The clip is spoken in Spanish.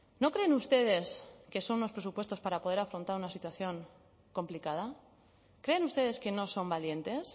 no creen ustedes que son unos presupuestos para poder afrontar una situación complicada creen ustedes que no son valientes